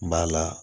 N b'a la